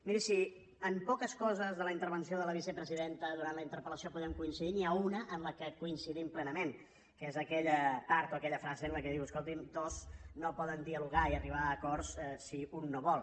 miri si en poques coses de la intervenció de la vicepresidenta durant la interpel·lació podem coincidir n’hi ha una en què coincidim plenament que és aquella part o aquella frase en què diu escolti’m dos no poden dialogar i arribar a acords si un no vol